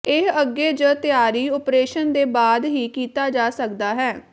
ਇਹ ਅੱਗੇ ਜ ਤਿਆਰੀ ਓਪਰੇਸ਼ਨ ਦੇ ਬਾਅਦ ਹੀ ਕੀਤਾ ਜਾ ਸਕਦਾ ਹੈ